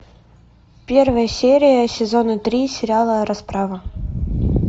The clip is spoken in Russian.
первая серия сезона три сериала расправа